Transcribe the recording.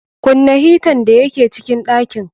Kunna hitan da ya ke cikin ɗakin.